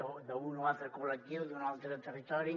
o d’un o altre col·lectiu d’un altre territori